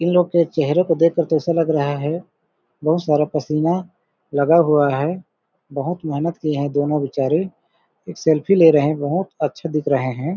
इन लोग के चेहेरे को देख कर तो लग रहा है बहुत सारा पसीना लगा हुआ है बहुत मेहनत किए है दोनों बेचारे एक सेल्फी बहुत अच्छे दिख रहे है।